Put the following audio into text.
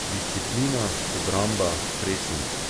Disciplina, obramba, presing ...